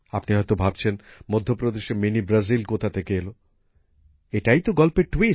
আপনি হয়ত ভাবছেন মধ্য প্রদেশে মিনি ব্রাজিল কোথা থেকে এল এটাই তো গল্পের মোড়